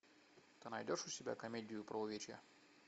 ты найдешь у себя комедию про увечья